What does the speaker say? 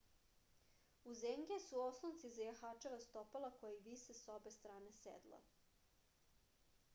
uzengije su oslonci za jahačeva stopala koji vise sa obe strane sedla